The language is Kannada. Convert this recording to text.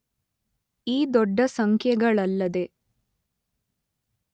ಈ ದೊಡ್ಡ ಸಂಖ್ಯೆಗಳಲ್ಲದೆ